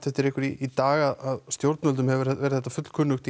eftir ykkur í dag stjórnvöldum hefur þá verið fullkunnugt